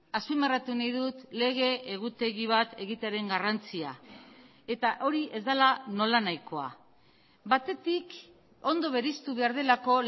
azpimarratu nahi dut lege egutegi bat egitearen garrantzia eta hori ez dela nola nahikoa batetik ondo bereiztu behar delako